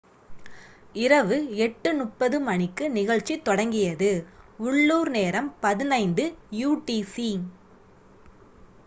இரவு 8:30 மணிக்கு நிகழ்ச்சி தொடங்கியது. உள்ளூர் நேரம் 15.00 utc